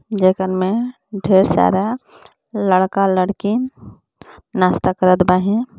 जेकर में ढेर सारा लड़का-लड़िकन नाश्ता करत बाहें.